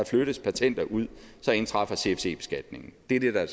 flyttes patenter ud indtræffer cfc beskatningen det er det der